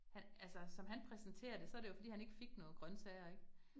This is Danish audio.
Han altså som han præsenterer det, så det jo fordi han ikke fik noget grøntsager ik